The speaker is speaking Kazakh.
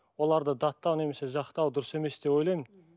оларды даттау немесе жақтау дұрыс емес деп ойлаймын